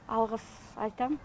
алғыс айтам